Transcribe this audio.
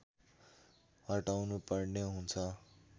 हटाउनुपर्ने हुन्छ